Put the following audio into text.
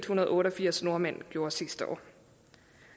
hundrede og otte og firs nordmænd gjorde sidste år